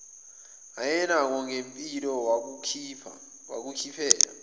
ayenakho ngempilo wakukhiphela